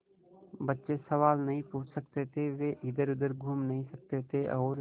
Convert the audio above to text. बच्चे सवाल नहीं पूछ सकते थे वे इधरउधर घूम नहीं सकते थे और